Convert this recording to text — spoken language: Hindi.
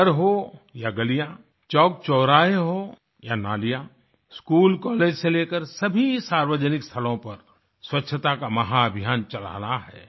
घर हो या गलियाँ चौकचौराहे हो या नालियाँ स्कूल कॉलेज से लेकर सभी सार्वजनिक स्थलों पर स्वच्छता का महा अभियान चलाना है